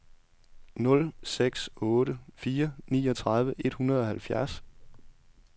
nul seks otte fire niogtredive et hundrede og halvfjerds